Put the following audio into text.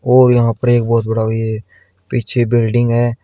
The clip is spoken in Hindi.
और यहां पर एक बहुत बड़ा ये पीछे बिल्डिंग है।